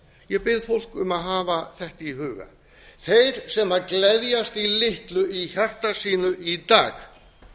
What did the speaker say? ég bið fólk að hafa þetta í huga þeir sem gleðjast í litlu í hjarta sínu í dag